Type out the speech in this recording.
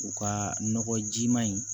U ka nɔgɔ jiman in